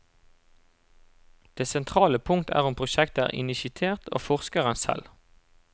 Det sentrale punkt er om prosjektet er initiert av forskeren selv.